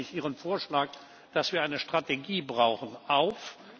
Deshalb nehme ich Ihren Vorschlag, dass wir eine Strategie brauchen, auf.